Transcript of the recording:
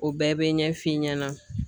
O bɛɛ bɛ ɲɛf'i ɲɛna